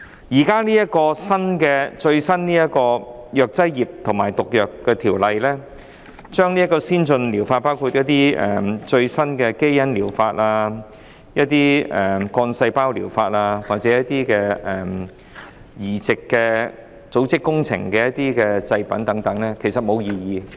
政府現在最新提出的《條例草案》涵蓋先進療法，包括最新的基因療法、幹細胞療法或移植組織工程的製品等，其實沒有人提出異議。